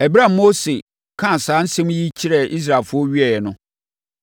Ɛberɛ a Mose kaa saa nsɛm yi kyerɛɛ Israelfoɔ wieeɛ no,